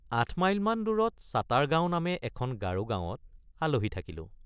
৮ মাইলমান দূৰত চাতাৰগাঁৱ নামে এখন গাৰো গাঁৱত আলহী থাকিলো।